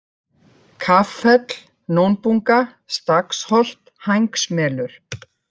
Kaffell, Nónbunga, Staksholt, Hængsmelur